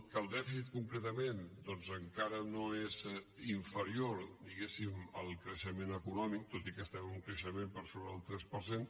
que el dèficit concretament doncs encara no és inferior diguéssim al creixement econòmic tot i que estem en un creixement per sobre del tres per cent